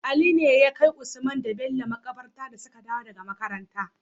Ali ne yakai usman da Bello makabarta dasuka dawo daka makaranta